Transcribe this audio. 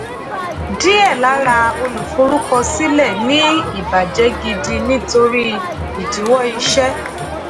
díẹ̀ lára olùforúkọsílẹ̀ ní ìbàjẹ́ gidi nítorí ìdíwọ́ iṣẹ́.